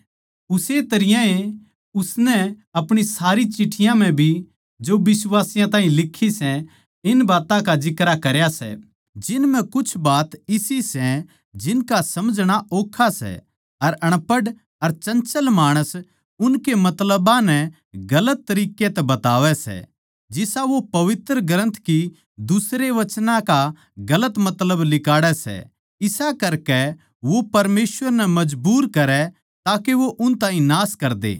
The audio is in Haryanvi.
उस्से तरियां ए उसनै अपणी सारी चिठ्ठियाँ म्ह भी जो बिश्वासियाँ ताहीं लिखी सै इन बात्तां का जिक्रा करया सै जिन म्ह कुछ बात इसी सै जिनका समझणा ओक्खा सै अर अनपढ़ अर चंचल माणस उनके मतलबां नै गलत तरिक्कें तै बतावै सै जिसा वो पवित्र ग्रन्थ की दुसरे वचनां का गलत मतलब लिकाड़ै सै इसा करके वो परमेसवर नै मजबूर करै ताके वो उन ताहीं नाश करदे